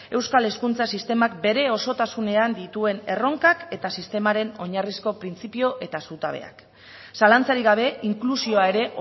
euskal hezkuntza sistemak bere osotasunean dituen erronkak eta sistemaren oinarrizko printzipio eta zutabeak zalantzarik gabe inklusioa ere